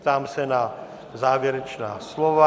Ptám se na závěrečná slova.